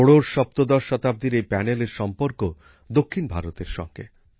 ষোড়শসপ্তদশ শতাব্দীর এই প্যানেলের সম্পর্ক দক্ষিণ ভারতের সঙ্গে